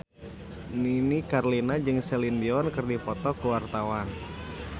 Nini Carlina jeung Celine Dion keur dipoto ku wartawan